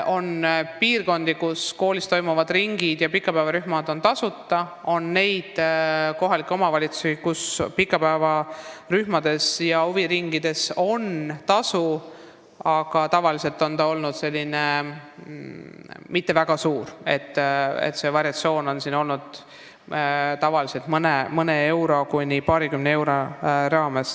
On piirkondi, kus koolis tegutsevad ringid ja pikapäevarühmad on tasuta, ning on kohalikke omavalitsusi, kus pikapäevarühmades ja huviringides on osalemistasu, aga tavaliselt ei ole see mitte väga suur, varieerudes mõnest eurost paarikümne euroni.